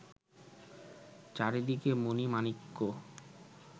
চারিদিকে মণি-মাণিক্য